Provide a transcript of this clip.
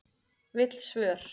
Vill svör